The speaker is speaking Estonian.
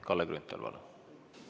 Kalle Grünthal, palun!